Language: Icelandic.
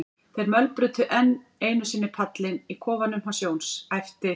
þeir mölbrutu enn einu sinni pallinn í kofanum hans Jóns, æpti